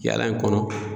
Yala in kɔnɔ